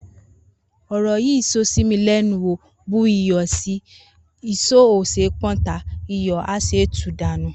Oro yi so si mi lenu o bu iyo si, iso o se pon ta, iyo a se tu danu.